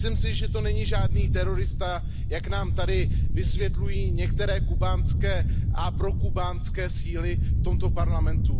Myslím si, že to není žádný terorista, jak nám tady vysvětlují některé kubánské a prokubánské síly v tomto Parlamentu.